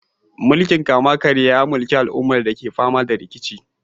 Mulkin kama-karya ya mulki al'ummar da ke fama da rikici.